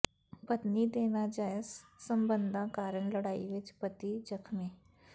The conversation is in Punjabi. ਪਤਨੀ ਦੇ ਨਾਜਾਇਜ਼ ਸਬੰਧਾਂ ਕਾਰਨ ਲੜਾਈ ਵਿੱਚ ਪਤੀ ਜ਼ਖ਼ਮੀ